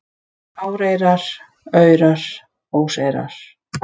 Áreyrar, aurar, óseyrar